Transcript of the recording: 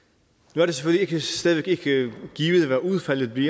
nu er det selvfølgelig stadig ikke givet hvad udfaldet vil